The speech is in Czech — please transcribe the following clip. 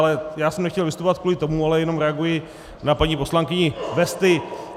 Ale já jsem nechtěl vystupovat kvůli tomu, ale jenom reaguji na paní poslankyni - vesty.